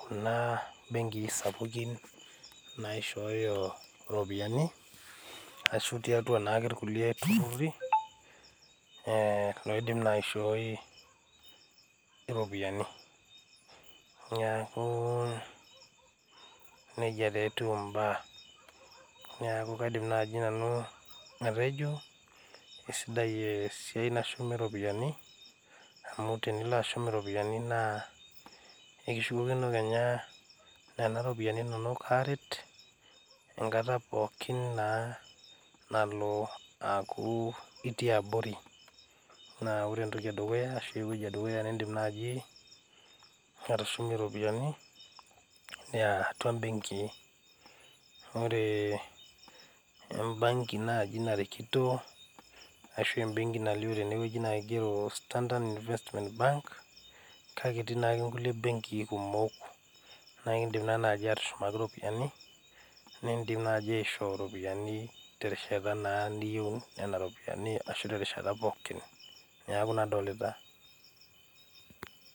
kuna benkii sapukin ashuu kulo tururi looidim naa aishoi iropiyiani neeku nejia taaa wtiu imbaa newku kaidim naaji nanu atejo keisidai esiai nashumi iropiyiani amu ekishukokino nena ropiyiani naa ekipuo aaret pookin naa nalo aaku itii abori ashua ore entoki edukuya nindiim atushumie naa atua imbeenkii